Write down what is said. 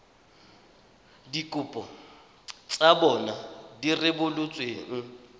dikopo tsa bona di rebotsweng